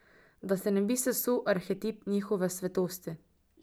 Da se ne bi sesul arhetip njihove svetosti.